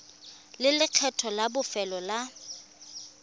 le lekgetho la bofelo la